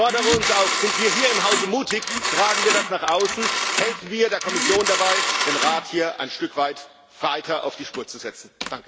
Ich fordere uns auf Seien wir hier im Hause mutig, tragen wir das nach außen, helfen wir der Kommission dabei, den Rat hier ein Stück weit auf die Spur zu setzen!